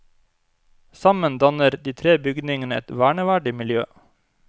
Sammen danner de tre bygningene et verneverdig miljø.